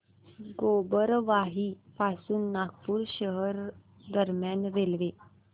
गोबरवाही पासून नागपूर शहर दरम्यान रेल्वे